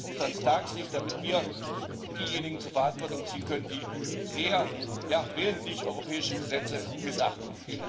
Das muss ans Tageslicht, damit wir auch diejenigen zur Verantwortung ziehen können, die sehr ja, willentlich europäische Gesetze missachten.